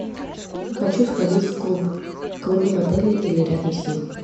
хочу сходить в клуб клубы в отеле или рядом с ним